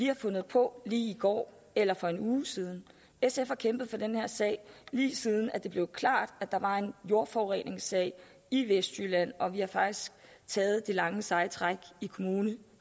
har fundet på i går eller for en uge siden sf har kæmpet for den her sag lige siden det blev klart at der var en jordforureningssag i vestjylland og vi har faktisk taget det lange seje træk i kommune